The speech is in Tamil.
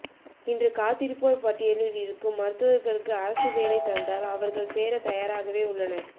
இன்று காத்திருப்போர் பட்டியலில் இருக்கும் மருத்துவர்களுக்கு அரசு வேலை தந்தால் அவர்கள் சேர தயாராகவே உள்ளனர்